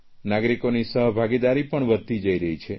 નાગરિકોની સહભાગીદારી પણ વધતી જઇ રહી છે